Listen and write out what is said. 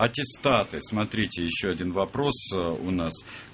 аттестаты смотрите ещё один вопрос у нас